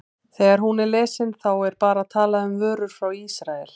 Þegar hún er lesin, þá er bara talað um vörur frá Ísrael?